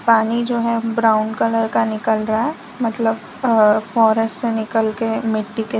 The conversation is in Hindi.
पानी जो है ब्राऊन कलर का निकल रहा है मतलब फॉरेस्ट से निकल कर मिट्टी के--